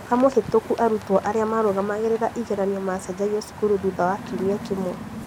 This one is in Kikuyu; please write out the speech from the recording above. Mwaka mũhĩtũku arutani arĩa marugamagĩrĩra igeranio macenjagio cukuru thutha wa kiumia kĩmwe